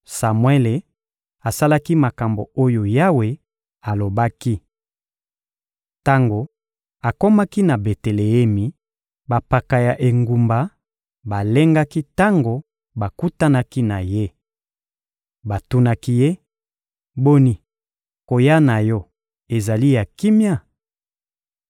Samuele asalaki makambo oyo Yawe alobaki. Tango akomaki na Beteleemi, bampaka ya engumba balengaki tango bakutanaki na ye. Batunaki ye: — Boni, koya na yo ezali ya kimia?